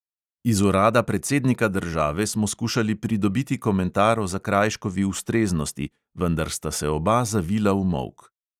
Iz urada predsednika države smo skušali pridobiti komentar o zakrajškovi ustreznosti, vendar sta se oba zavila v molk.